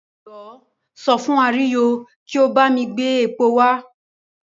Jọ̀wọ́ sọ fún Àríyọ̀ kí ó bá mi gbé epo wá.